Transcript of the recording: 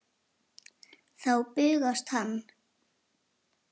Þá bugast hann.